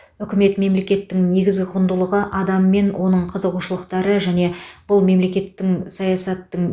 үкімет мемлекеттің негізгі құндылығы адам мен оның қызығушылықтары және бұл мемлекеттік саясаттың